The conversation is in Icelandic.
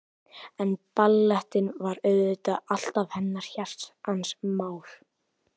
En ballettinn var auðvitað alltaf hennar hjartans mál.